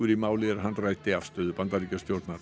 í máli er hann ræddi afstöðu Bandaríkjastjórnar